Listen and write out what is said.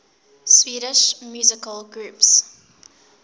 swedish musical groups